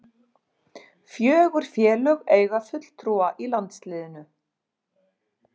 Fjögur félög eiga fulltrúa í landsliðinu